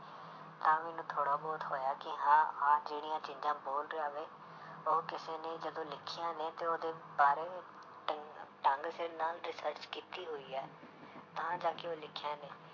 ਤਾਂ ਮੈਨੂੰ ਥੋੜ੍ਹਾ ਬਹੁਤ ਹੋਇਆ ਕਿ ਹਾਂ ਆਹ ਜਿਹੜੀਆਂ ਚੀਜ਼ਾਂ ਬੋਲ ਰਿਹਾ ਵੇ ਉਹ ਕਿਸੇ ਨੇ ਜਦੋਂ ਲਿਖੀਆਂ ਨੇ ਤੇ ਉਹਦੇ ਬਾਰੇ ਢੰ~ ਢੰਗ ਸਿਰ ਨਾਲ research ਕੀਤੀ ਹੋਈ ਹੈ ਤਾਂ ਜਾ ਕੇ ਉਹ ਲਿਖੀਆਂ ਨੇ।